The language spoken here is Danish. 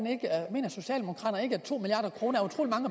mener socialdemokraterne ikke at to milliard kroner